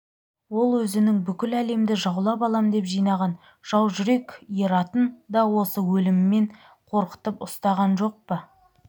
ол өзінің бүкіл әлемді жаулап алам деп жинаған жау жүрек ератын да осы өліммен қорқытып ұстаған жоқ па